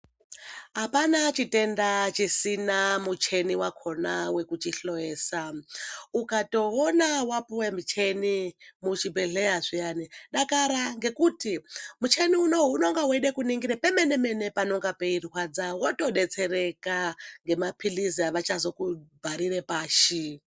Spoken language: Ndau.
Hapana chitenda chisina mucheni wakona wekuchihloyesaa, ukatowona wapiwee mucheni muchibhedhleyaa zviyani dakara, ngekuti mucheni uno uyu unonga weide kuningire pemene mene panonga peirwadza, wotodetsereka nemapilizi avachazokubharire pashi.